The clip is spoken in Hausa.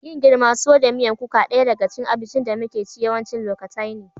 Yin girima, tuwo da miyan kuka daya daga cikin abincin da muke ci yawancin lokatai ne.